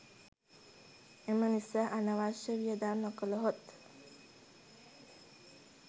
එම නිසා අනවශ්‍ය වියදම් නොකළහොත්